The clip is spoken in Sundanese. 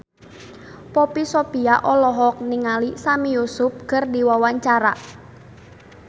Poppy Sovia olohok ningali Sami Yusuf keur diwawancara